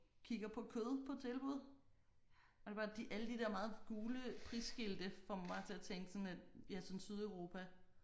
Kigger på kød på tilbud og det bare de alle de der meget gule prisskilte får mig til at tænke sådan lidt ja sådan Sydeuropa